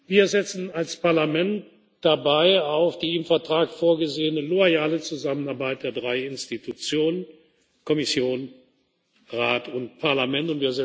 Wir setzen als Parlament dabei auf die im Vertrag vorgesehene loyale Zusammenarbeit der drei Institutionen Kommission, Rat und Parlament.